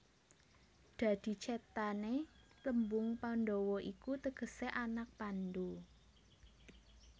Dadi cethané tembung Pandhawa iku tegesé anak Pandhu